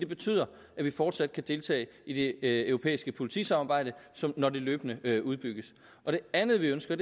betyde at vi fortsat kan deltage i det europæiske politisamarbejde når det løbende udbygges det andet vi ønsker